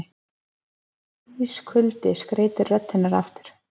Ískuldi skreytir rödd hennar aftur.